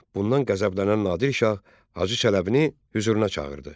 Bundan qəzəblənən Nadir şah Hacı Çələbini hüzuruna çağırdı.